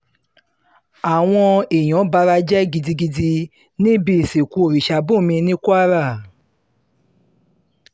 àwọn èèyàn bara jẹ́ gidigidi níbi ìsìnkú orìṣàbùnmí ní kwara